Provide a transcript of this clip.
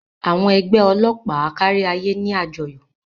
Àwọn ẹgbẹ́ ọlọ́pàá káríayé ní àjọyọ̀.